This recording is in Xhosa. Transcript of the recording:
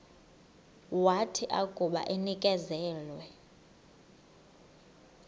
wathi akuba enikezelwe